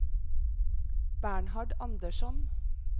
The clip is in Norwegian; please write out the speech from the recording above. Bernhard Andersson